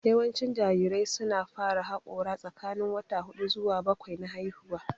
Yawancin jarirai su na fara haƙora tsakanin wata hudu zuwa bakwai na haihuwa